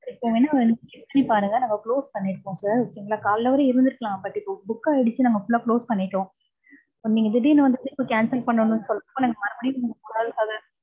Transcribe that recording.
நீங்க வேணா எங்க website பாருங்க, நாங்க close பண்ணிருப்போம் sir. Okay ங்களா. காலைல வர இருந்திருக்கலாம். But இப்ப book ஆயிடுச்சு. நாங்க full ஆ close பண்ணிட்டோம். நீங்க திடீர்னு வந்து trip cancel பண்ணுன்னு சொல்றப்ப, நாங்க மறுபடியும் ஒரு ஆளுக்காக